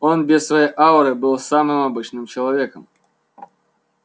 он без своей ауры был самым обычным человеком